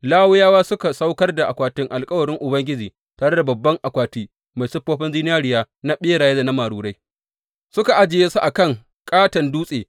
Lawiyawa suka saukar da akwatin alkawarin Ubangiji tare da babban akwati mai siffofin zinariya na ɓeraye da marurai suka ajiye su a kan ƙaton dutse.